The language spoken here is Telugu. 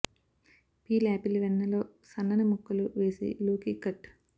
పీల్ ఆపిల్ వెన్న లో సన్నని ముక్కలు వేసి లోకి కట్